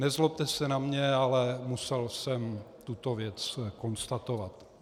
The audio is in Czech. Nezlobte se na mě, ale musel jsem tuto věc konstatovat.